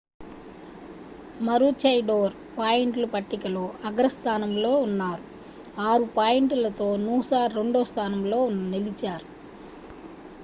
maroochydore పాయింట్ల పట్టికలో అగ్రస్థానంలో ఉన్నారు 6 పాయింట్లతో noosa రెండో స్థానంలో నిలిచారు